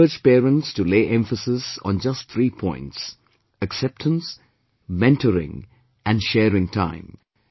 I shall urge parents to lay emphasis on just three points acceptance, mentoring and sharing time